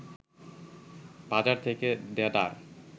বাজার থেকে দেদার